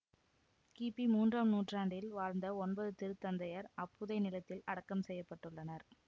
கிபி மூன்றாம் நூற்றாண்டில் வாழ்ந்த ஒன்பது திருத்தந்தையர் அப்புதைநிலத்தில் அடக்கம் செய்ய பட்டுள்ளனர்